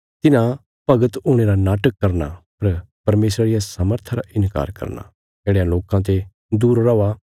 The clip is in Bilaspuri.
तिन्हां भगत हुणे रा नाटक करना पर परमेशरा रिया सामर्था रा इन्कार करना येढ़यां लोकां ते दूर रौआ